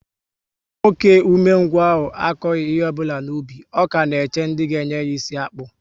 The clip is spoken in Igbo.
Nwoke ume ngwu ahụ akoghi ihe ọbụla n'ubi, ọ ka na-eche ndị ga enye ya isi akpu